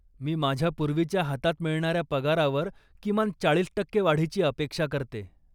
मी माझ्या पूर्वीच्या हातात मिळणाऱ्या पगारावर किमान चाळीस टक्के वाढीची अपेक्षा करते.